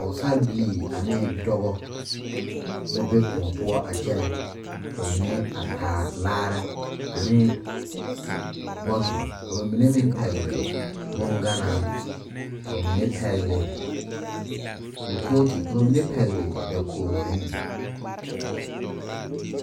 Pɔɔsarebilii anee dɔbɔ la be kõɔ poɔ a kyɛnɛ ka ba mine a taa laare ne bɔtol ka ba mine meŋ pɛgle bonganaa ka ba mine pɛgle kolpɔɔte ka mine pɛgle dakog zenne.